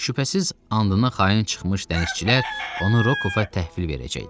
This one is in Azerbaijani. Şübhəsiz, andına xain çıxmış dənizçilər onu Rokofa təhvil verəcəkdilər.